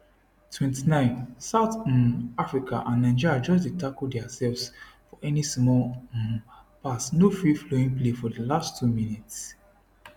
29 south um africa and nigeria just dey tackle diasefs for any small um pass no free flowing play for di last two minutes